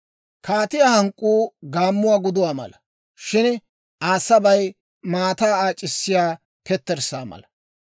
Kaatiyaa hank'k'uu gaammuwaa guduwaa mala; shin Aa sabay maataa aac'issiya ketterssaa mala.